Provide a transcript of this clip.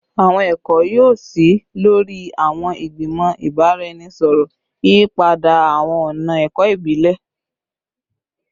Awọn ẹkọ yoo ṣii lori awọn igbimọ ibaraẹnisọrọ, yiyipada awọn ọna ẹkọ ibile